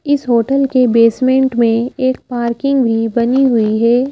इस होटल के बेसमेंट में एक पार्किंग भी बनी हुई है ।